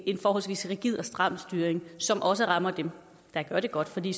forholdsvis rigid og stram styring som også rammer dem der gør det godt for de